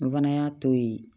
N fana y'a to yen